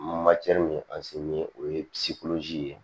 min an se ni o ye ye